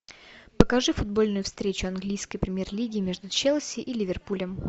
покажи футбольную встречу английской премьер лиги между челси и ливерпулем